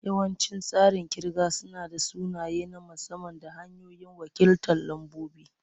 Yawancin tsarin kirga suna da sunaye na musamman da hanyoyin wakiltar lambobi.